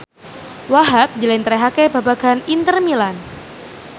Wahhab njlentrehake babagan Inter Milan